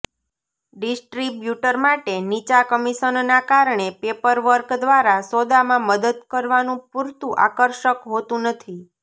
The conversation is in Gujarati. ડિસ્ટ્રિબ્યુટર માટે નીચા કમિશનના કારણે પેપરવર્ક દ્વારા સોદામાં મદદ કરવાનું પૂરતું આકર્ષક હોતું નથી